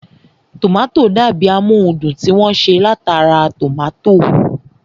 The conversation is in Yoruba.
Tòmátò dàbi amóhundùn tí wọ́n ṣe látara tòmátò